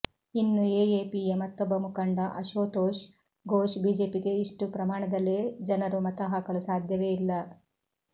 ಇನ್ನು ಎಎಪಿಯ ಮತ್ತೊಬ್ಬ ಮುಖಂಡ ಅಶೋತೋಷ್ ಘೋಷ್ ಬಿಜೆಪಿಗೆ ಇಷ್ಟು ಪ್ರಮಾಣದಲ್ಲಿ ಜನರು ಮತ ಹಾಕಲು ಸಾಧ್ಯವೇ ಇಲ್ಲ